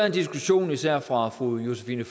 en diskussion især fra fru josephine